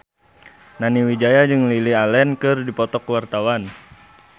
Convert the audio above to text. Nani Wijaya jeung Lily Allen keur dipoto ku wartawan